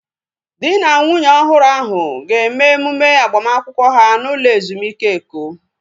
Dị na nwunye ọhụrụ ahu ga-eme emume agbamakwụkwọ ha n'ụlọ ezumike Eko